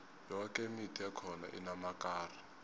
yoke imithi ekhona inamakari